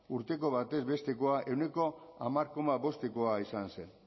urteko batez bestekoa ehuneko hamar koma bostekoa izan zen